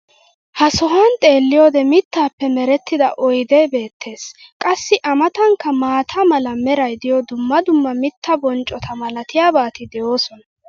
ha sohuwan xeelliyoode mitaappe merettida oydee beetees. qassi a matankka maata mala meray diyo dumma dumma mitaa bonccota malatiyaabati de'oosona.